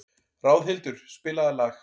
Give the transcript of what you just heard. Ráðhildur, spilaðu lag.